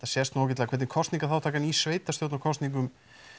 sést nú ágætlega hvernig kosningaþátttakan í sveitarstjórnarkosningum